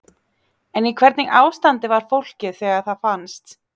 En í hvernig ástandi var fólkið þegar það fannst?